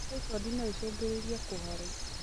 Taibodi noĩcũngĩrĩrie kũharwo